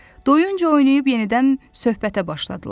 Doyunca oynayıb yenidən söhbətə başladılar.